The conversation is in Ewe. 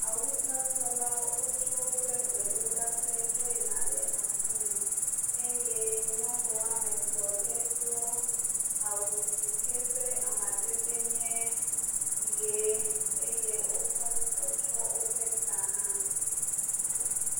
Awusatɔlawo wotso woƒe gbedoɖaƒe dzo yina ɖe aƒeme eye nyɔnu woame etɔ̃ aɖe do awu si ke eƒe amadedee nye ʋee. Eye wokɔ nu kɔ tsyɔ woƒe ta hã.